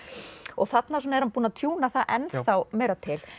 og þarna er hann búinn að það ennþá meira til